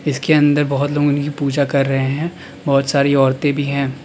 इसके अंदर बहुत लोग उनकी पूजा कर रहे हैं बहुत सारी औरतें भी हैं।